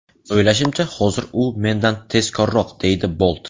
O‘ylashimcha, hozirda u mendan tezkorroq”, deydi Bolt.